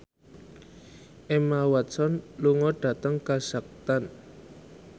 Emma Watson lunga dhateng kazakhstan